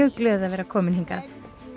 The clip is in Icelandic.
mjög glöð að vera komin hingað